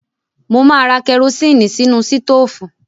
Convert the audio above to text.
Mo máa ra kẹrosínì sínú sítóófù.